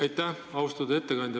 Aitäh, austatud ettekandja!